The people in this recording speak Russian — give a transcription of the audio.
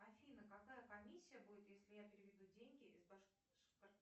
афина какая комиссия будет если я переведу деньги из